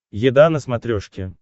еда на смотрешке